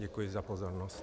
Děkuji za pozornost.